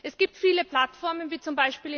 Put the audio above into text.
Es gibt viele Plattformen wie z.